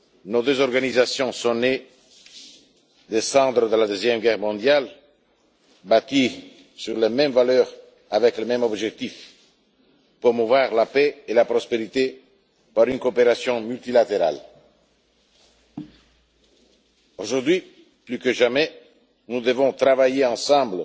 Nos deux organisations sont nées des cendres de la Seconde Guerre mondiale et ont été bâties sur les mêmes valeurs, avec le même objectif promouvoir la paix et la prospérité par une coopération multilatérale. Aujourd'hui, plus que jamais, nous devons travailler ensemble